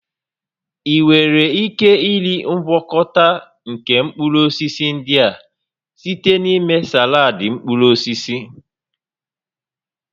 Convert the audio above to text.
Ị nwere ike iri ngwakọta nke mkpụrụ osisi ndị a site na ịme saladị mkpụrụ osisi